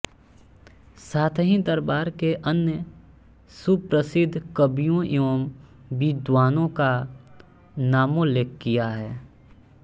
साथ ही दरबार के अन्य सुप्रसिद्ध कवियों एवं विद्वानों का नामोल्लेख किया है